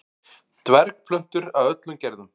dvergplöntur af öllum gerðum